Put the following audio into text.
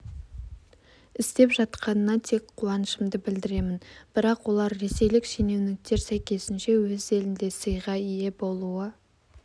істеп жатқанына тек қуанышымды білдіремін бірақ олар ресейлік шенеуніктер сәйкесінше өз елінде сыйға ие болуы